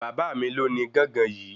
Bàbá mí lo ní gángan yìí